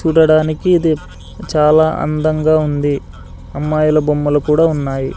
చూడడానికి ఇది చాలా అందంగా ఉంది అమ్మాయిల బొమ్మలు కూడా ఉన్నాయి.